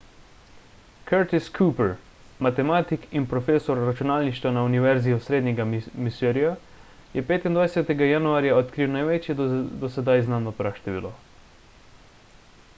curtis cooper matematik in profesor računalništva na univerzi osrednjega misurija je 25 januarja odkril največje do sedaj znano praštevilo